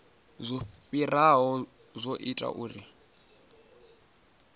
zwo fhiraho zwo ita uri